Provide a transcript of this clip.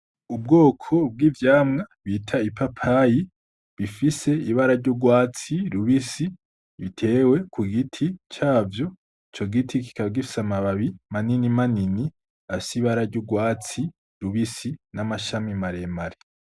Ubwoko bw'ivyamwa bita ipapayi bifise ibara ry'urwatsi rubisi bitewe ku giti cavyo, ico giti kikaba gifise amababi manini manini afise ibara ry'urwatsi rubisi n'amashami maremare.